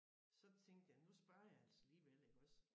Så tænkte jeg nu spørger jeg altså alligevel iggås